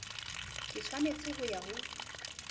ke tshwanetseng ho ya ho